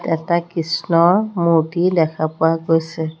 এটা কৃষ্ণৰ মূৰ্ত্তি দেখা পোৱা গৈছে।